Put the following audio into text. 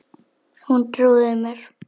Hún trúði mér.